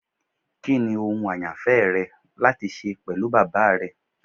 Kini ohun ayanfẹ rẹ lati ṣe pẹlu baba rẹ?